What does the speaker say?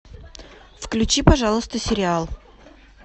включи пожалуйста сериал